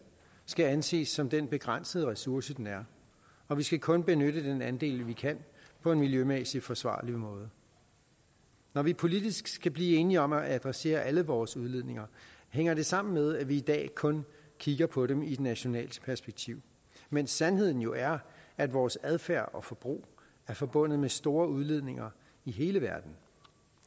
skal anses som den begrænsede ressource den er og vi skal kun benytte den andel vi kan på en miljømæssigt forsvarlig måde når vi politisk skal blive enige om at adressere alle vores udledninger hænger det sammen med at vi i dag kun kigger på dem i et nationalt perspektiv mens sandheden jo er at vores adfærd og forbrug er forbundet med store udledninger i hele verden